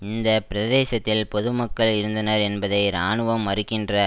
இந்த பிரதேசத்தில் பொதுமக்கள் இருந்தனர் என்பதை இராணுவம் மறுக்கின்ற